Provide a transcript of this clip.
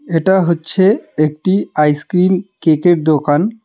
এটা হচ্ছে একটি আইসক্রিম কেকের দোকান.